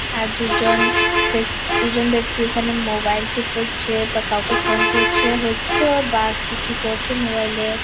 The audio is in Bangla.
এক দুজন ব্যাক্তি দুজন ব্যক্তি এখানে মোবাইল -টা করছে বা কাউকে ফোন করছে | হয়তো বা কিছু করছে মোবাইল -এ ।